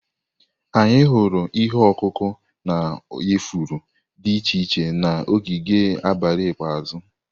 Anyị hụrụ ihe ọkụkụ na ifuru dị iche iche na ogige abalị ikpeazụ.